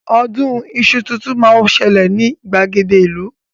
Ọdún iṣu tuntun máa ń ṣẹlẹ̀ ní ìgbàgede ìlú